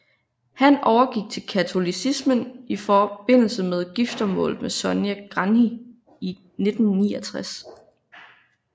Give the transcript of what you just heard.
Han overgik til katolicismen i forbindelse med giftermålet med Sonia Gandhi i 1969